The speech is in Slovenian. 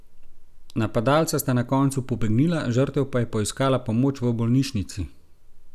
Napadalca sta na koncu pobegnila, žrtev pa je poiskala pomoč v bolnišnici.